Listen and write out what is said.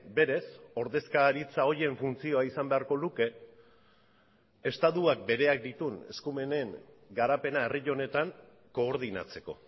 berez ordezkaritza horien funtzioa izan beharko luke estatuak bereak dituen eskumenen garapena herri honetan koordinatzeko